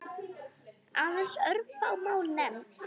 Aðeins örfá mál nefnd.